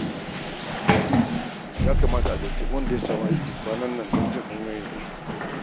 Ya kamata in tuntuɓi wanda ya sami aiki kwanan nan don jin hanyoyin da ya bi.